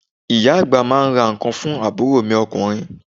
Ìyá àgbà máa ń ra ǹkan fún àbúrò mi ọkùnrin.